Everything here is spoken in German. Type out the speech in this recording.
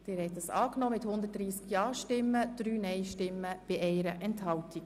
Sie haben die Motion abgeschrieben.